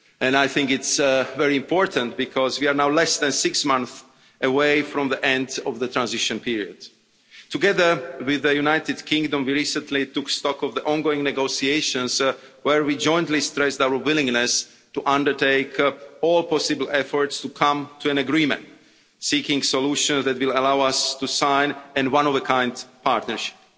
I think it's very important because we are now less than six months away from the end of the transition period. Together with the United Kingdom, we recently took stock of the ongoing negotiations where we jointly stressed our willingness to undertake all possible efforts to come to an agreement, seeking solutions that will allow us to sign a one of a kind partnership.